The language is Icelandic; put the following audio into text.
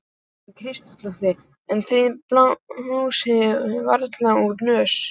Karen Kjartansdóttir: En þið blásið varla úr nös?